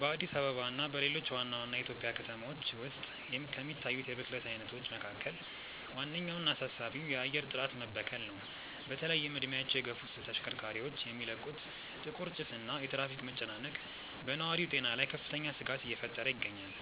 በአዲስ አበባ እና በሌሎች ዋና ዋና የኢትዮጵያ ከተሞች ውስጥ ከሚታዩት የብክለት አይነቶች መካከል ዋነኛውና አሳሳቢው የአየር ጥራት መበከል ነው። በተለይም እድሜያቸው የገፉ ተሽከርካሪዎች የሚለቁት ጥቁር ጭስ እና የትራፊክ መጨናነቅ በነዋሪው ጤና ላይ ከፍተኛ ስጋት እየፈጠረ ይገኛል።